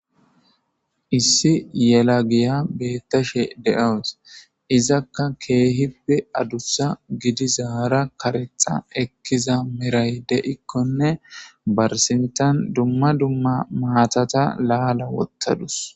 Issi yelagiya beettashe de'awus. Izakka keehippe adussa gidizara karexxa ekkiza meray de'izakonne ba sinttan dumma dumma maatata laala wottadus.